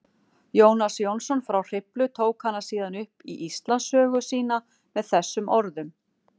Jónas Jónsson frá Hriflu tók hana síðan upp í Íslandssögu sína með þessum orðum: